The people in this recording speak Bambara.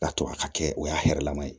Ka to a ka kɛ o y'a hɛrɛ lama ye